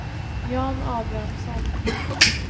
Jan Abrahamsson